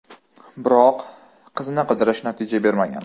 Biroq, qizni qidirish natija bermagan.